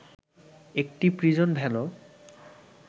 একটি প্রিজন ভ্যানও